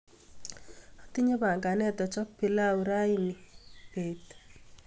Atinye panganet achop pilau rani beet.